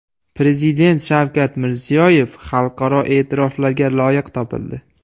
Prezident Shavkat Mirziyoyev xalqaro e’tiroflarga loyiq topildi.